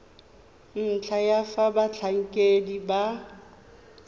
ntlha ya fa batlhankedi ba